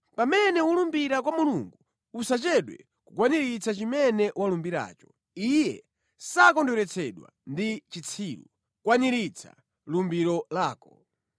Pamene ulumbira kwa Mulungu usachedwe kukwaniritsa chimene walumbiracho. Iye sakondweretsedwa ndi chitsiru; kwaniritsa lumbiro lako.